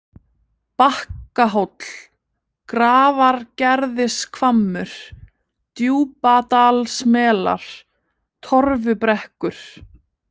Bakkahóll, Grafargerðishvammur, Djúpadalsmelar, Torfubrekkur